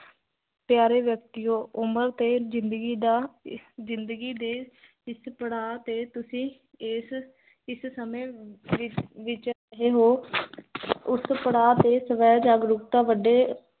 ਪਿਆਰੇ ਵਿਅਕਤਿਓ, ਉਮਰ ਤੇ ਜ਼ਿੰਦਗੀ ਦਾ, ਜ਼ਿੰਦਗੀ ਦੇ, ਜਿਸ ਪੜਾਵ ਤੇ ਤੁਸੀ, ਇਸ ਇਸ ਸਮੇਂ ਵਿਚ, ਇਸ ਸਮੇ, ਉਸ ਪਢਾ ਤੇ ਸਵੈ ਜਾਗਰੂਕਤਾ ਵੱਡੇ